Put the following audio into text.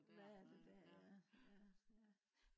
hvad er der der ja ja ja